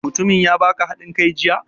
Mutumin ya baka haɗin kai jiya?